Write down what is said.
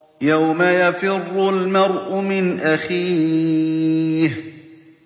يَوْمَ يَفِرُّ الْمَرْءُ مِنْ أَخِيهِ